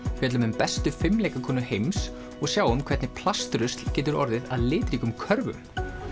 fjöllum um bestu heims og sjáum hvernig plastrusl getur orðið að litríkum körfum